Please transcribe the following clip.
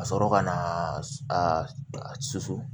Ka sɔrɔ ka na a susu